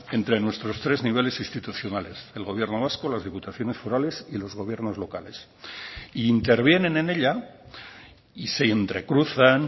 entre nuestros tres niveles institucionales el gobierno vasco las diputaciones forales y los gobiernos locales y intervienen en ella y se entrecruzan